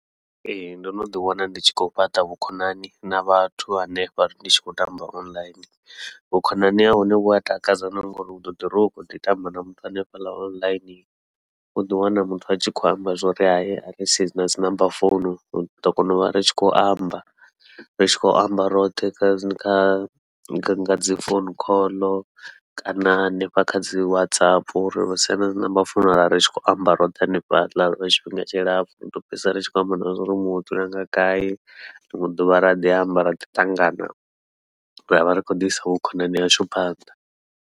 Ee, ndono ḓi wana ndi tshi khou fhaṱa vhukonani na vhathu hanefha ndi tshi khou tamba online, vhukonani ha hone vhua takadza na ngauri u ḓoḓi ri u khou ḓi tamba na muthu hanefhaḽa online u ḓi wana muthu a tshi khou amba zwauri hai ari sie nadzi number founu, uḓo kona uvha ri tshi khou amba ri tshi khou amba roṱhe kha kha nga dzi phone call kana hanefha kha dzi WhatsApp ri sia number phone ri tshi khou amba roṱhe hanefhaḽa lwa tshifhinga tshilapfhu, ro to fhedzisela ri tshi khou amba na zwa uri muṅwe u dzula nga gai ḽiṅwe ḓuvha ra ḓi amba raḓi tangana ravha ri khou ḓi isa vhukonani hashu phanḓa.